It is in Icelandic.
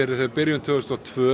tvö þúsund og tvö